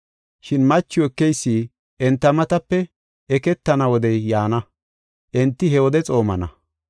Shin machiw ekeysi enta matape eketana wodey yaana, enti he wode xoomana.